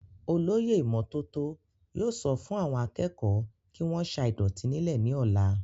olóyè ìmọ́tótó yóò sọ fún àwọn akẹ́kọ̀ọ́ kí wọ́n sa ìdọ̀tí nílẹ̀ ní ọ̀la